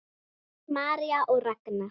María og Ragnar.